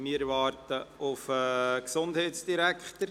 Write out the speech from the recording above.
Wir warten auf den Gesundheitsdirektor.